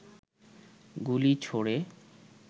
গুলি ছোড়ে